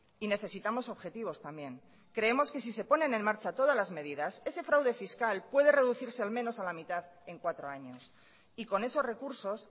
y necesitamos objetivos también creemos que si se ponen en marcha todas las medidas ese fraude fiscal puede reducirse al menos a la mitad en cuatro años y con esos recursos